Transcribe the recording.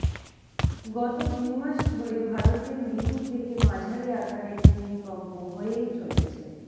গত দুইমাস ধরে ভারতে মৃদু থেকে মাঝারি আকারের ভূমিকম্প হয়েই চলেছে